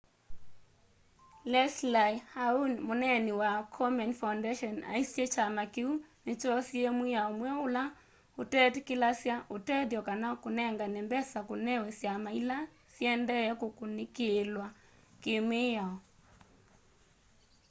leslie aun mũneeni wa komen foundation aisye kyama kĩu nĩkyosie mwĩao mweũ ũla ũtetĩkĩlasya ũtethyo kana kũnengane mbesa kũnewe syama ila syendee kũkunĩkĩlwa kĩ mĩao